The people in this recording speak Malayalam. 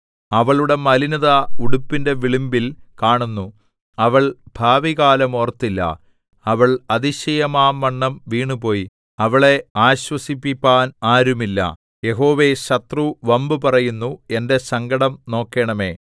അവളുടെ മലിനത ഉടുപ്പിന്റെ വിളുമ്പിൽ കാണുന്നു അവൾ ഭാവികാലം ഓർത്തില്ല അവൾ അതിശയമാംവണ്ണം വീണുപോയി അവളെ ആശ്വസിപ്പിപ്പാൻ ആരുമില്ല യഹോവേ ശത്രു വമ്പ് പറയുന്നു എന്റെ സങ്കടം നോക്കേണമേ